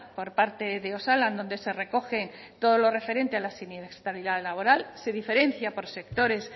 por parte de osalan donde se recoge todo lo referente a la siniestralidad laboral se diferencia por sectores